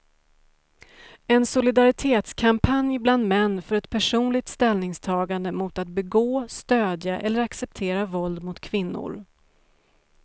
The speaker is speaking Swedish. En solidaritetskampanj bland män för ett personligt ställningstagande mot att begå, stödja eller acceptera våld mot kvinnor.